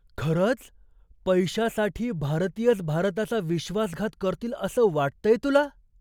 खरंच? पैशासाठी भारतीयच भारताचा विश्वासघात करतील असं वाटतंय तुला?